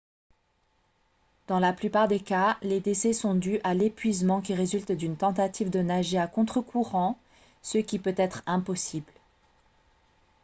dans la plupart des cas les décès sont dus à l'épuisement qui résulte d'une tentative de nager à contre-courant ce qui peut être impossible